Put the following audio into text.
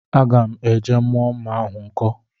Agam eje mu mma ahu nko